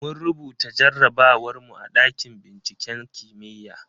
Mun rubuta jarrabawar mu a ɗakin binciken kimiyya.